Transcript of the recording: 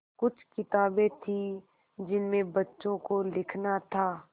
कुछ किताबें थीं जिनमें बच्चों को लिखना था